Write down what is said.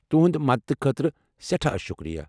تُہٕنٛدِ مدتھٕ خٲطرٕ سیٹھاہ شُکریہ۔